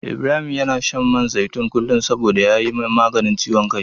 Ibrahim yana shan man zaitun kullum saboda ya yi maganin ciwon kai.